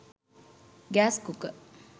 gas cooker